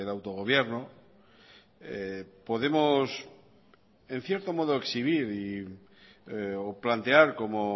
autogobierno podemos en cierto modo exhibir o plantear como